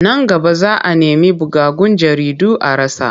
Nan gaba za a nemi bugaggun jaridu a rasa.